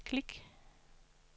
klik